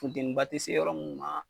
Funteni ba te se yɔrɔ mun ma